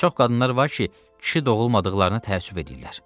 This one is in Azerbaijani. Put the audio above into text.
Çox qadınlar var ki, kişi doğulmadıqlarına təəssüf eləyirlər.